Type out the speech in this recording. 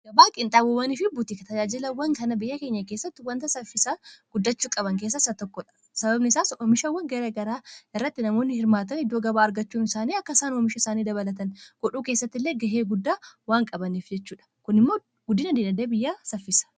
Abaaqiinxaabawwanii fi butika tajaajilawwan kana biyya keenya keessatti wanta saffisaa guddachuu qaban keessa isaa tokkodha. Sababni isaas oomishawwan gara garaa arratti namoonni hirmaatan iddoo gabaa argachuun isaanii akka isaan oomisha isaanii dabalatan godhuu keessatti illee gahee guddaa waan qabaneef jechuudha. Kun immoo guddina dinagde biyyaa saffisa.